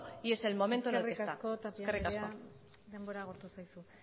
y es el momento en el que está eskerrik asko eskerrik asko tapia andrea denbora agortu zaizu